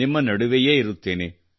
ನಿಮ್ಮ ನಡುವೆಯೇ ಇರುತ್ತೇನೆ